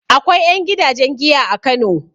Akwai ƴan gidajen giya a Kano.